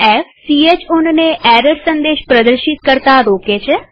f160 chownને error સંદેશ પ્રદર્શિત કરતા રોકે છે